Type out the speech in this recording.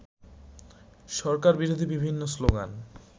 সরকারবিরোধী বিভিন্ন স্লোগান